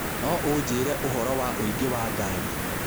No ũnjĩĩre ũhoro wa ũingĩ wa ngari